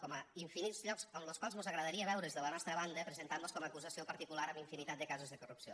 com a infinits llocs en los quals mos agradaria veure’ls de la nostra banda presentant mos com a acusació particular en infinitat de casos de corrupció